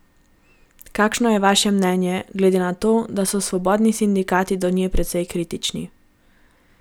Kakšno je vaše mnenje, glede na to, da so svobodni sindikati do nje precej kritični?